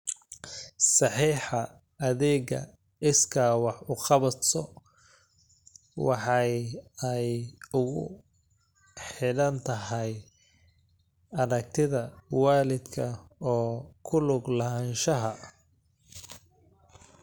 Saxeexa adeega iskaa wax u qabso waxay aad ugu xidhan tahay aragtida waalidka ee ku lug lahaanshaha.